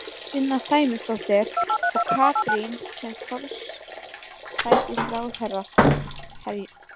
Sunna Sæmundsdóttir: Og Katrín sem forsætisráðherra?